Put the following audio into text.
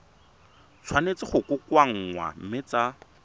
tshwanetse go kokoanngwa mme tsa